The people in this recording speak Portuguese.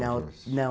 Não, não.